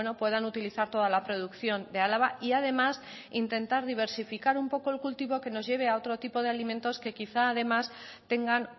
puedan utilizar toda la producción de álava y además intentar diversificar un poco el cultivo que nos lleve a otro tipo de alimentos que quizá además tengan